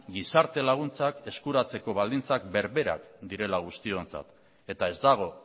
gizarte laguntzak eskuratzeko baldintzak berberak direla guztiontzat eta ez dago